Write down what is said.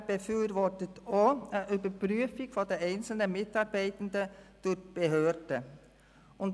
Übrigens befürwortet der VSSU eine Überprüfung der einzelnen Mitarbeitenden durch die Behörden.